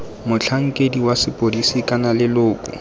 motlhankedi wa sepodisi kana leloko